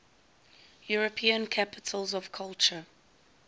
european capitals of culture